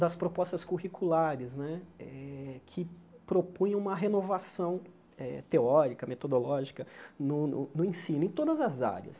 das propostas curriculares né eh que propunham uma renovação eh teórica, metodológica no no no ensino, em todas as áreas.